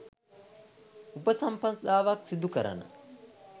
උපසම්පදාවක් සිදු කරන